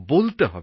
বলতে হবে